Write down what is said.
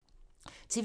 TV 2